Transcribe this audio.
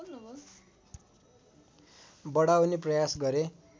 बढाउने प्रयास गरे